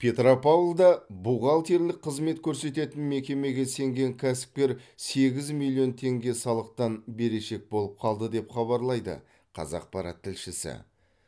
петропавлда бухгалтерлік қызмет көрсететін мекемеге сенген кәсіпкер сегіз миллион теңге салықтан берешек болып қалды деп хабарлайды қазақпарат тілшісі